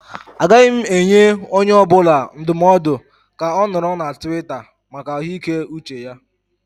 Agaghị m enye onye ọ bụla ndụmọdụ ka ọ nọrọ na Tiwita maka ahụike uche ha.